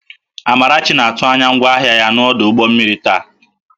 Amarachi na-atụ anya ngwaahịa ya n'ọdụ ụgbọ mmiri taa